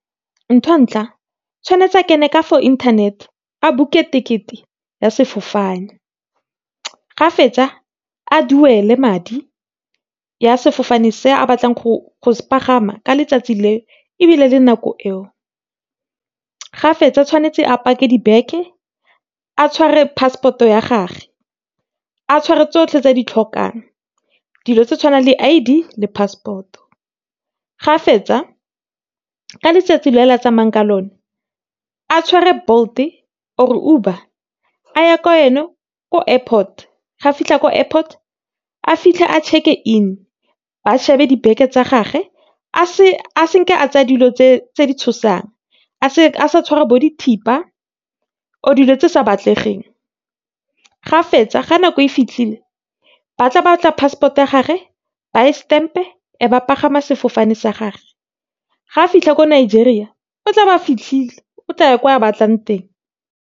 ntho ya ntlha, tshwanetse a internet, a book-e ticket-e ya sefofane, ga fetsa a duele madi ya sefofane se a batlang go se palama ka letsatsi le, ebile le nako eo, ga fetsa tswanetse a pake di beke, a tshware passport-o ya gage, a tshware tsotlhe tse a di tlhokang. Dilo tse tshwanang le, I_D le passport-o. Ga fetsa, ka letsatsi le la tsamayang ka lone a tshware Bolt-e or-e Uber, a ye ka ko airport. Ga fitlha ko airport, a fitlhe a check-e-in, a shebe di beke tsa gage, a a tsa dilo tse di tshosang. A sa tshwara bo di thipa, or-e dilo tse sa batlegeng. Ga fetsa, ga nako e fitlhile, ba tla batla passport-o ya gage, ba e stamp-e, e ba palama sefofane sa gage. Ga fitlha ko Nigeria, o tla ba fitlhile. O tlaya ko a batlang teng.